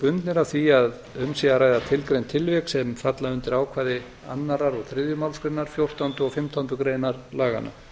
bundnir af því að um sé að ræða tilgreind tilvik sem falla undir ákvæði annarrar og þriðju málsgrein fjórtándu og fimmtándu greinar laganna